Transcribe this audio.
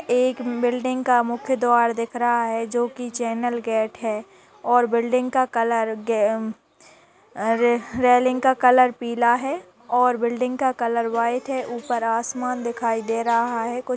एक बिल्डिंग का मुख्य द्वार दिख रहा है जो कि चैनल गेट है और बिल्डिंग का कलर रे-रेलिंग का कलर पीला है और बिल्डिंग का कलर व्हाइट है। उपर आसमान दिखाई दे रहा है कुछ --